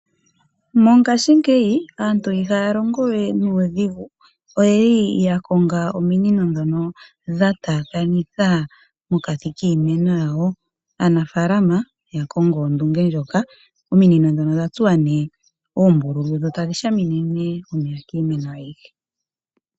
Mongashingeyi aantu ihaya longowe nuudhigu oyeli yakonga ominino ndhono dha taakanithwa mokati kiimeno yawo . Aanafaalama yakongo ondunge ndjoka ominino ndhono odha tsuwa oombululu dho tadhi shamine omeya kiimeno ayihe.